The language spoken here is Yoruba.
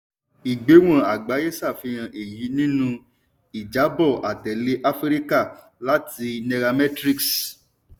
ìgbéwọ̀n àgbáyé ṣàfihàn èyí nínú ìjábọ̀ àtẹ̀lé áfíríkà láti nairametrics.